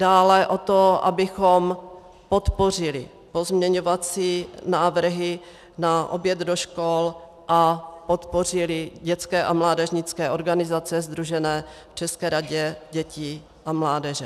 Dále o to, abychom podpořili pozměňovací návrhy na oběd do škol a podpořili dětské a mládežnické organizace sdružené v České radě dětí a mládeže.